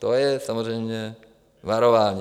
To je samozřejmě varování.